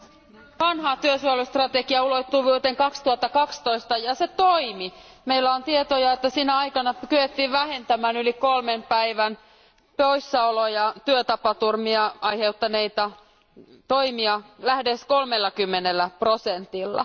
Arvoisa puhemies, ....vanhaan työsuojelustrategiaulottuvuuteen 2012, ja se toimi. Meillä on tietoja, että sinä aikana kyettiin vähentämään yli kolmen päivän poissaoloja työtapaturmia aiheuttaneita toimia lähes 30 prosentilla.